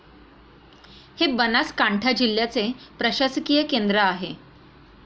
हे बनासकांठा जिल्ह्याचे प्रशासकीय केंद्र आहे.